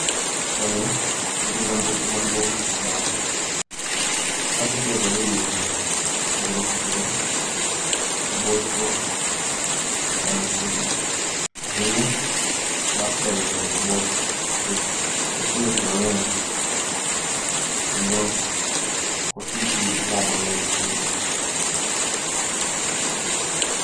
Picha ni nigi nyamburko maduong kata bas. Bas itiyo godo e wuodhe mopogore opogore, mabocho kata mchiegni. Ahinya to bas ber e wuodhe mabocho, nikech oting'o jii mang'eny kendo ok otii gi moo mang'eny ahinya.